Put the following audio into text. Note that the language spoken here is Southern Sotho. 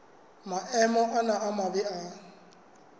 maemo ana a mabe a